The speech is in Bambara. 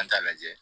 An t'a lajɛ